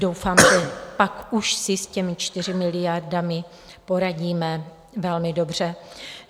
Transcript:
Doufám, že pak už si s těmi 4 miliardami poradíme velmi dobře.